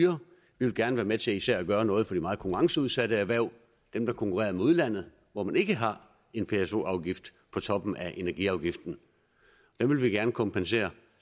vil gerne være med til især at gøre noget for de meget konkurrenceudsatte erhverv dem der konkurrerer med udlandet hvor man ikke har en pso afgift på toppen af energiafgiften dem vil vi gerne kompensere